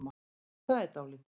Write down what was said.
Það er dálítið.